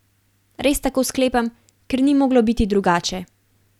Res tako sklepam, ker ni moglo biti drugače.